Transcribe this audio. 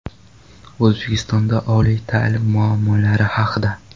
O‘zbekistonda oliy ta’lim muammolari haqida.